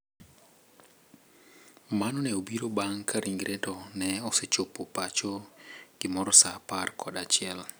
Mano ne obiro bang` ka ringre to ne ochopo pacho gimoro sa apar kod achiel.